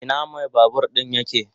Ina mai babur din yake?